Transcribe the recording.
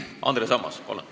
Andres Ammas, palun!